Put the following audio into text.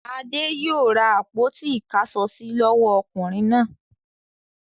Adé yòó ra àpótí ìkáṣọsí lọ́wọ́ ọkùnrin náà.